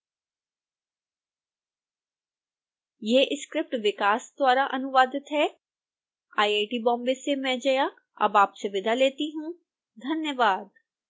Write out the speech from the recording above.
यह स्क्रिप्ट विकास द्वारा अनुवादित है आईआईटी बॉम्बे से मैं जया अब आपसे विदा लेती हूँ धन्यवाद